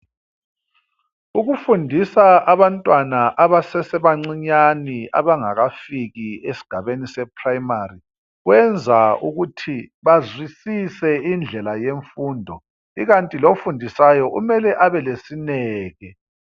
Ukufundisa abantwana abasesebancinyani abangakafiki esigabeni seprimary kwenza ukuthi bazwisise indlela yemfundo ikanti lofundisayo kumele abelesineke.